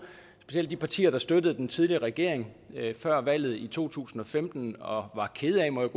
at de partier der støttede den tidligere regering før valget i to tusind og femten og var kede af må jeg